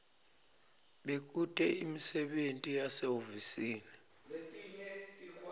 bekute imisebenti yasehhovisi